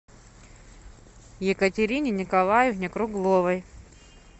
екатерине николаевне кругловой